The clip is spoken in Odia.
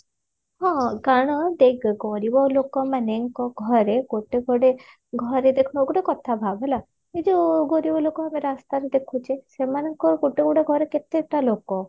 ହଁ କାରଣ ଦେଖ ଗରିବ ଲୋକମାନେ ଙ୍କ ଘରେ ଗୋଟେ ଗୋଟେ ଘରେ ଦେଖ ଗୋଟେ କଥା ଭାବ ହେଲା ଏଇ ଯଉ ଗରିବ ଲୋକ ଆମେ ରାସ୍ତାରେ ଦେଖୁଛେ ସେମାନଙ୍କ ଗୋଟେ ଗୋଟେ ଘରେ କେତେଟା ଲୋକ